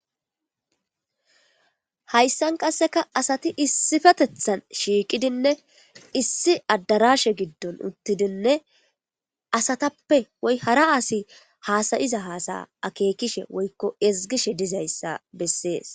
Hayssan qasseka asati issifetethan shiiqidinne issi addarashe giddon uttidinne asatappe woy hara asi haasayiza haasaya akeekishe woykko ezgishe dizayssa bessees.